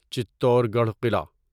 چتور گڑھ قلعہ